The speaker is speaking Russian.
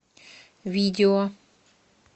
видео